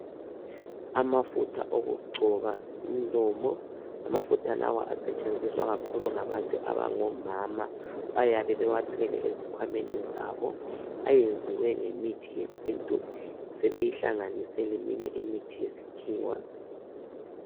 Amafutha okugcoba umlomo ,amafutha lawa asetshenziswa kakhulu ngabantu abangomama .Bayabe bewathwele ezikhwameni zabo ,ayenziwe ngemithi yesintu sebeyihlanganise leminye imithi yesikhiwa.